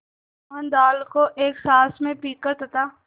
मोहन दाल को एक साँस में पीकर तथा